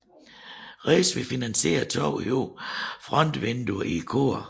Riis ville finansiere to høje frontvinduer i koret